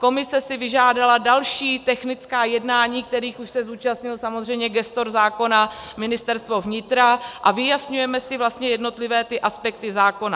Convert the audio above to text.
Komise si vyžádala další technická jednání, kterých už se zúčastnil samozřejmě gestor zákona, Ministerstvo vnitra, a vyjasňujeme si vlastně jednotlivé ty aspekty zákona.